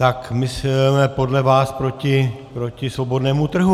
Tak my jsme podle vás proti svobodnému trhu.